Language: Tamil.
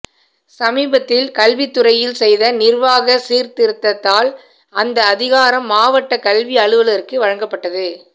சமீபத்தில் கல்வித்துறையில் செய்த நிர்வாக சீர்த்திருத்தத்தால் அந்த அதிகாரம் மாவட்டக் கல்வி அலுவலருக்கு வழங்கப்பட்டது